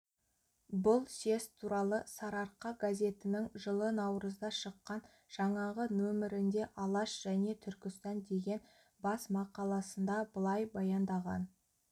бұл съезд туралы сарыарқа газетінің жылы наурызда шыққан жаңағы нөмірінде алаш және түркістан деген басмақаласында былай баяндаған